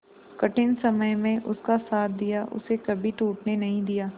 कठिन समय में उसका साथ दिया उसे कभी टूटने नहीं दिया